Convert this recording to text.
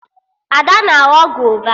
Ada na-aghọ gova